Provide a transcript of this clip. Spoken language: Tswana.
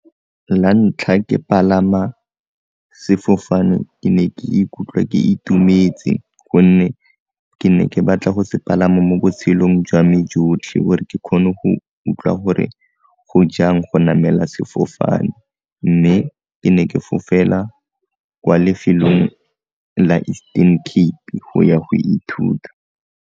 La ntlha ke palama sefofane ke ne ke ikutlwa ke itumetse gonne ke ne ke batla go se palama mo botshelong jwa me jotlhe gore ke kgone go utlwa gore go jang go namela sefofane, mme ke ne ke fofela kwa lefelong la Eastern Cape go ya go ithuta.